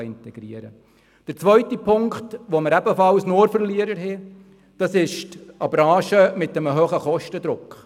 Beim zweiten Punkt, wo wir ebenfalls nur Verlierer haben, geht es um eine Branche mit einem hohen Kostendruck.